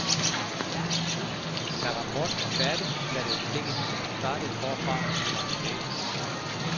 Da rapporten var færdig, satte jeg stikket i og startede forfra med min reportage.